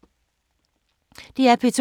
DR P2